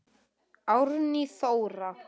Árný Þóra.